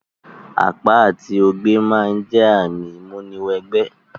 Àpá àti ogbẹ́ ma n jẹ ààmì ìmúni wẹ gbẹ́